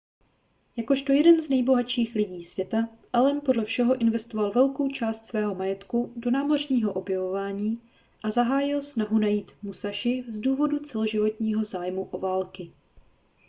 jakožto jeden z nejbohatších lidí světa allen podle všeho investoval velkou část svého majetku do námořního objevování a zahájil snahu najít musashi z důvodu celoživotního zájmu o války